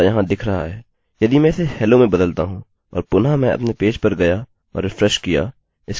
यदि मैं इसे hello में बदलता हूँ और पुनः मैं अपने पेज पर गया और रिफ्रेशrefreshकिया इसके पास hello वेल्यू होगी